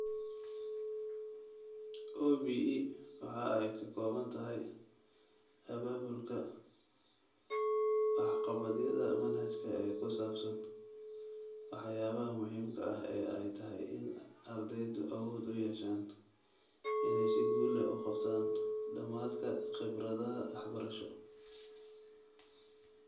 OBE waxa ay ka kooban tahay abaabulka waxqabadyada manhajka ee ku saabsan waxyaabaha muhiimka ah ee ay tahay in ardaydu awood u yeeshaan inay si guul leh u qabtaan dhamaadka khibradaha waxbarasho.